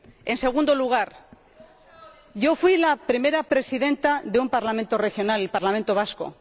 En segundo lugar, yo fui la primera presidenta de un parlamento regional, el Parlamento vasco.